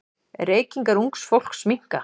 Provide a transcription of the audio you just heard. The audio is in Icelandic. Reykingar ungs fólks minnka.